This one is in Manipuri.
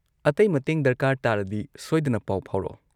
ꯑꯇꯩ ꯃꯇꯦꯡ ꯗꯔꯀꯥꯔ ꯇꯥꯔꯗꯤ ꯁꯣꯏꯗꯅ ꯄꯥꯎ ꯐꯥꯎꯔꯛꯑꯣ꯫